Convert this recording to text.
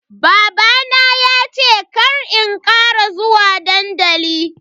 Babana ya ce kar in kara zuwa dandali.